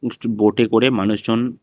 কিছু বোটে করে মানুষ জন।